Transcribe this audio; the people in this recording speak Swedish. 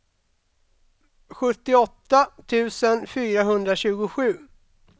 sjuttioåtta tusen fyrahundratjugosju